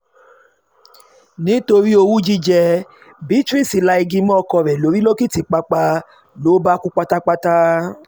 nítorí owú jíjẹ́ beatrice la igi mọ́ ọkọ rẹ̀ lórí lòkìtìpápá ló bá kú pátápátá